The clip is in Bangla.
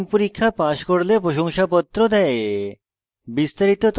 online পরীক্ষা pass করলে প্রশংসাপত্র দেয়